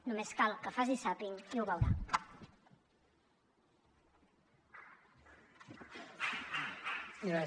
només cal que faci zàping i ho veurà